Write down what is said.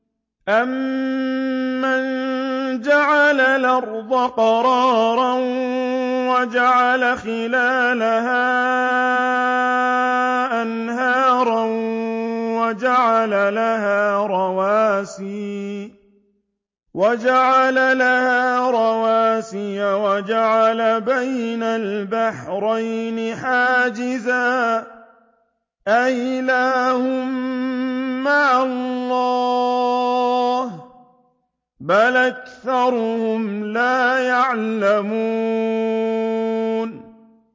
أَمَّن جَعَلَ الْأَرْضَ قَرَارًا وَجَعَلَ خِلَالَهَا أَنْهَارًا وَجَعَلَ لَهَا رَوَاسِيَ وَجَعَلَ بَيْنَ الْبَحْرَيْنِ حَاجِزًا ۗ أَإِلَٰهٌ مَّعَ اللَّهِ ۚ بَلْ أَكْثَرُهُمْ لَا يَعْلَمُونَ